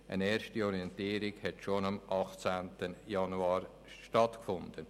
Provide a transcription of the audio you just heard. Eine erste Orientierung fand bereits am 18. Januar 2018 statt.